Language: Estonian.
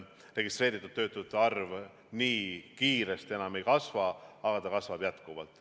Registreeritud töötute arv nii kiiresti enam ei kasva, aga see kasvab jätkuvalt.